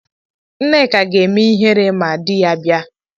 Nneka ga-eme ihere ma di ya bia.